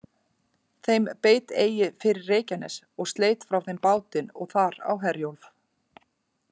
Þeim beit eigi fyrir Reykjanes, og sleit frá þeim bátinn og þar á Herjólf.